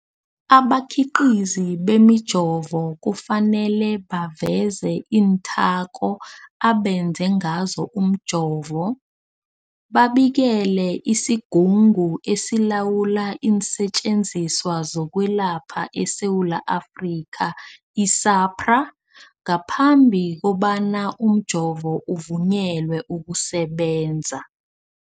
Abakhiqizi bemijovo kufanele baveze iinthako abenze ngazo umjovo, babikele isiGungu esiLawula iinSetjenziswa zokweLapha eSewula Afrika, i-SAHPRA, ngaphambi kobana umjovo uvunyelwe ukusebenza.